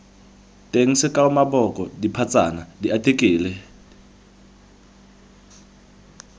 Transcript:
teng sekao maboko dipatsana diartikele